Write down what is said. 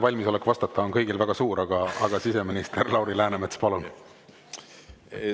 Valmisolek vastata on kõigil väga suur, aga, siseminister Lauri Läänemets, palun!